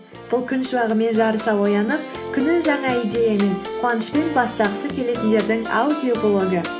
бұл күн шуағымен жарыса оянып күнін жаңа идеямен қуанышпен бастағысы келетіндердің аудиоблогы